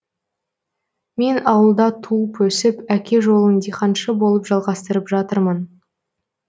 мен ауылда туып өсіп әке жолын диқаншы болып жалғыстырып жатырмын